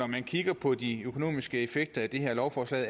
man kigger på de økonomiske effekter af det her lovforslag